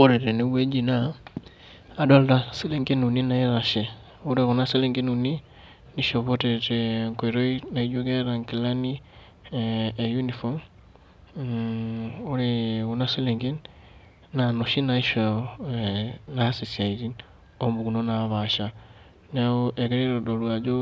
Ore tenewueji naa, adolta selenken uni naitashe. Ore kuna selenken uni, nishopote tenkoitoi naijo eta nkilani e uniform, ore kuna selenken, na noshi naisho naas isiaitin ompukunot napaasha. Neeku egira aitodolu ajo